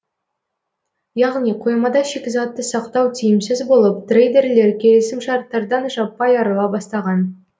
яғни қоймада шикізатты сақтау тиімсіз болып трейдерлер келісімшарттардан жаппай арыла бастаған